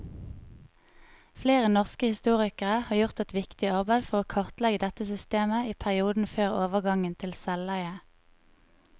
Flere norske historikere har gjort et viktig arbeid for å kartlegge dette systemet i perioden før overgangen til selveie.